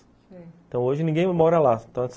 Sei, então, hoje, ninguém mora lá.